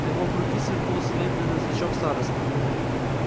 на его груди сверкнул серебряный значок старосты